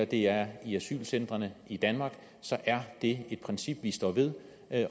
det er i asylcentrene i danmark så er det et princip vi står ved